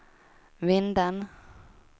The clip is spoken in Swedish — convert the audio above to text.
Vindeln